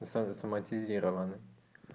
соматизированный